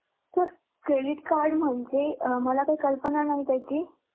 Sir credit card म्हणजे मला तर कल्पना नाही त्याची?